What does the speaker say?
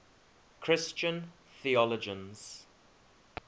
christian theologians